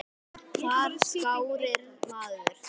Hvar skráir maður sig?